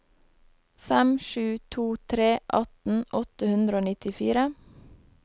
fem sju to tre atten åtte hundre og nittifire